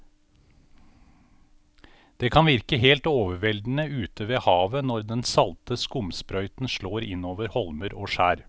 Det kan virke helt overveldende ute ved havet når den salte skumsprøyten slår innover holmer og skjær.